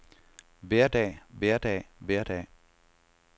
hverdag hverdag hverdag